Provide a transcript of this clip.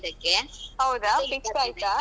ಹೌದಾ fix ಆಯ್ತಾ?